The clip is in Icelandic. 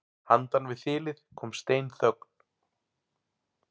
Handan við þilið kom steinþögn.